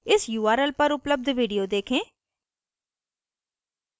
इस url पर उपलब्ध video देखें